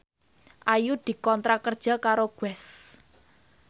Ayu dikontrak kerja karo Guess